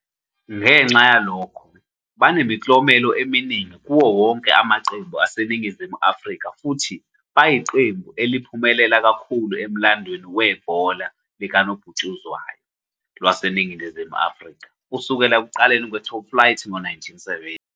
Ngenxa yalokho, banemiklomelo eminingi kuwo wonke amaqembu aseNingizimu Afrika futhi bayiqembu eliphumelela kakhulu emlandweni webhola likanobhutshuzwayo laseNingizimu Afrika kusukela ekuqaleni kwe-top flight ngo-1970.